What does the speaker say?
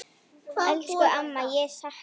Elsku amma, ég sakna þín.